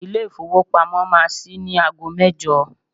Ilé ìfowópamọ́ máa ṣí ní ago mẹ́jọ.